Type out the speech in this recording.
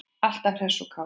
Alltaf hress og kát.